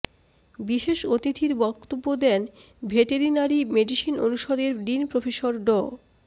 বিশেষ অতিথির বক্তব্য দেন ভেটেরিনারি মেডিসিন অনুষদের ডিন প্রফেসর ড